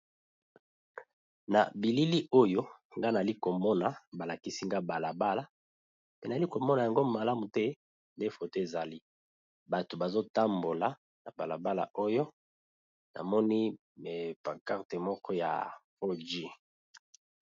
Na bilili oyo nga nali komona ba lakisi nga bala bala, mpe nali komona yango malamu te nde foto ezali bato bazo tambola na bala bala oyo namoni pancarte moko ya 4G.